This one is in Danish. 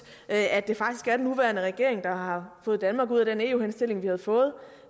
at det faktisk er den nuværende regering der har fået danmark ud af den eu henstilling vi havde fået